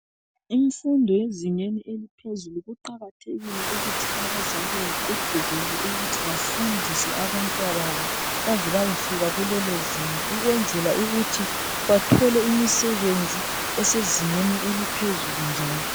Imfundo ezingeni eliphezulu kuqakathekile ukuthi abazali bagqugquzele ukuthi bafundise abantwababo. Baze bayefika kulelo zinga. Ukwenzela ukuthi bathole imisebenzi esezingeni eliphezulu njalo.